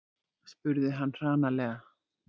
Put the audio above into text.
spurði hann hranalega.